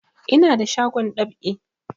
Ina da shagon dab'i